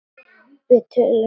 Við tölum saman seinna.